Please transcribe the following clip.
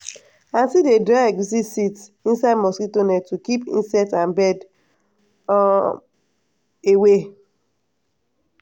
aunty dey dry egusi seeds inside mosquito net to keep insect and bird um away.